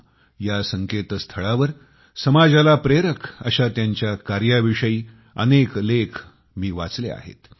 com ह्या संकेतस्थळावर मी त्यांच्या समाजाला प्रेरक अशा कार्याविषयी अनेक लेख वाचले आहेत